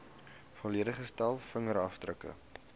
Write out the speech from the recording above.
volledige stel vingerafdrukke